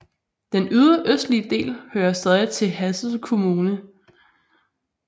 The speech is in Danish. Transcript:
Den ydre østlige del hører stadig til Hadsel kommune